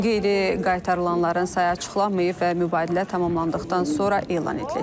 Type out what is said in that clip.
Qeyri-qaytarılanların sayı açıqlanmayıb və mübadilə tamamlandıqdan sonra elan ediləcək.